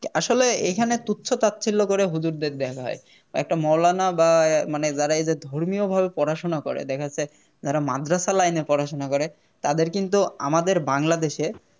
আসলে এইখানে তুচ্ছ তাচ্ছিল্য করে হুজুরদের দেখা হয় একটা মৌলানা বা মানে যারা এদের ধর্মীয়ভাবে পড়াশুনা করে দেখা যাচ্ছে যারা মাদ্রাসাতে Line এ পড়াশুনা করে তাদের কিন্তু আমাদের Bangladesh এ